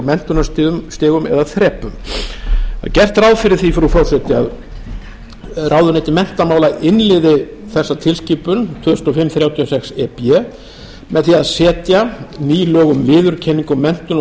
menntunarstigum eða þrepum það er gert ráð fyrir því frú forseti að ráðuneyti menntamála innleiði þessa tilskipun tvö þúsund og fimm þrjátíu og sex e b með því að setja ný lög um viðurkenningu og menntun á